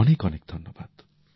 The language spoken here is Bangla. অনেক অনেক ধন্যবাদ